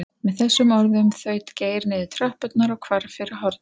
Með þessum orðum þaut Geir niður tröppurnar og hvarf fyrir hornið.